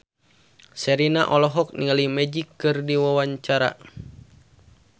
Sherina olohok ningali Magic keur diwawancara